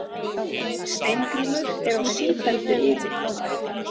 Steingrímur er á sífelldu iði.